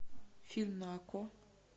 фильм на окко